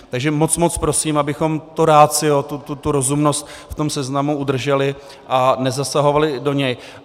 Takže moc moc prosím, abychom to ratio, tu rozumnost, v tom seznamu udrželi a nezasahovali do něj.